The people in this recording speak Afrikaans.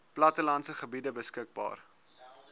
plattelandse gebiede beskikbaar